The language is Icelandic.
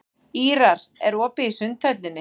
Ýrar, er opið í Sundhöllinni?